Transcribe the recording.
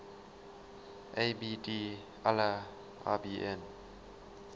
abd allah ibn